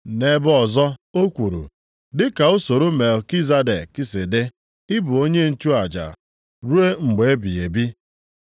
Nʼebe ọzọ, o kwuru, “Dị ka usoro Melkizedek si dị, ị bụ onye nchụaja ruo mgbe ebighị ebi.” + 5:6 \+xt Abụ 110:4\+xt*